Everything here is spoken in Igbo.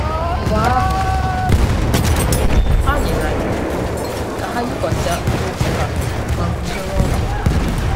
Mgbe ahụ, a nyere ha iwu ka ha yikwasị akpụkpọ ụkwụ ha ma guzoro ọtọ.